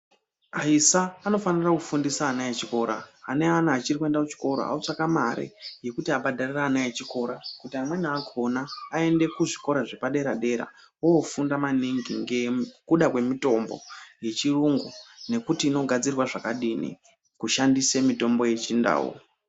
Aisa anofanira kufundisa ana echikora. Ane ana achiri kuenda kuchikora otsvake mare yekuti abhadharire ana echikora, kuti amweni akhona aende kuzvikora zvepaderadera ofunda maningi, ngekuda kwemitombo yechiyungu nekuti inogadzirwa zvakadini kushandise mitombo yechindau.